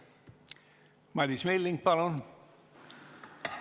Madis Milling, palun!